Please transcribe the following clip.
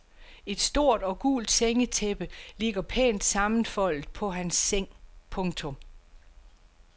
Et sort og gult sengetæppe ligger pænt sammenfoldet på hans seng. punktum